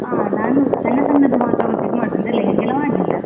ಹಾ ನಾನು ಸಣ್ಣ ಸಣ್ಣದು ಮಾತ್ರ purchase ಮಾಡುದು ಅಂದ್ರೆ lehenga ಎಲ್ಲಾ ಮಾಡ್ಲಿಲ್ಲ.